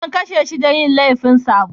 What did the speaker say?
An kashe shi da laifin yin sabo.